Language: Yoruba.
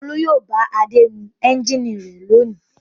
Olú yóò bá Adé nu ẹ́ńjínì rẹ̀ lónìí.